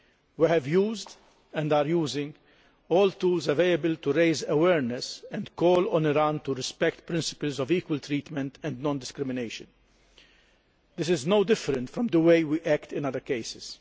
We have used, and are using, all the available tools to raise awareness and call on Iran to respect principles of equal treatment and non discrimination. This is no different from the way we act in other cases.